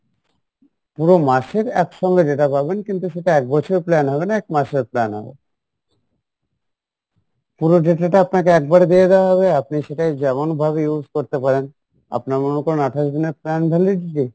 পুরো মাসের এক সঙ্গে data পাবেন কিন্তু সেটা এক বছর plan হবে না এক মাসের plan হবে পুরো data টা আপনাকে একবারে দিয়ে দেওয়া হবে আপনি সেটাই যেমন ভাবে use করতে পারেন আপনার মনে করেন আঠাশ দিনের plan validity